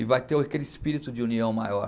E vai ter o aquele espírito de união maior.